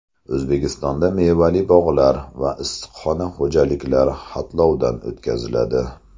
O‘zbekistonda mevali bog‘lar va issiqxona xo‘jaliklari xatlovdan o‘tkaziladi.